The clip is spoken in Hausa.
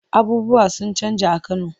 Abubuwa sun canja a Kano.